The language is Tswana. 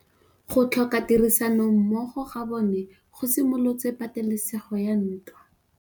Go tlhoka tirsanommogo ga bone go simolotse patêlêsêgô ya ntwa.